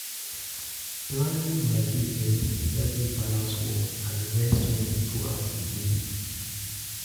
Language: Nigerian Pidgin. Planning my day early help me balance work and rest well throughout di day.